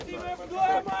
Uşaqlar, biz evdəyik!